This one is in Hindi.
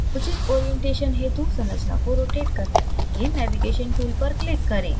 उचित orientation हेतु संरचना को rotate करने के लिए navigation tool पर क्लिक करें